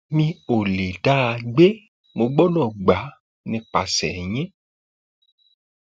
mi mi ò lè dá a gbà mo gbọdọ gbà á nípasẹ yín